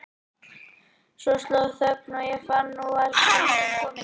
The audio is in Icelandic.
Svo sló á okkur þögn og ég fann að nú var stundin komin.